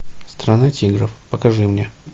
страна тигров покажи мне